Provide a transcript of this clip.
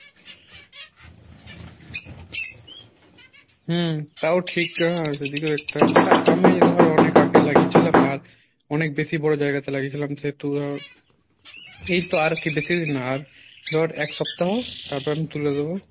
হম তাও ঠিক হ্যাঁ সেদিকে একটা but আমি ধর অনেক আগে লাগিয়েছিলাম আর অনেক বেশি বড়ো জায়গাতে লাগিয়েছিলাম সেহেতু আর এইতো আরকি বেশি দিন না আর ধর এক সপ্তাহ তারপর আমি তুলে দেবো